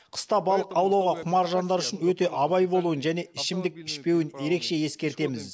қыста балық аулауға құмар жандар үшін өте абай болуын және ішімдік ішпеуін ерекше ескертеміз